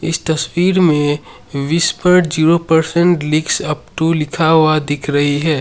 इस तस्वीर में Whisper zero percent leaks up to लिखा हुआ दिख रही है।